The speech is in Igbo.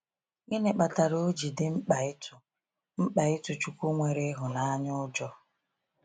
Gịnị kpatara oji dị mkpa ịtụ mkpa ịtụ chukwu nwere ịhụnanya ụjọ?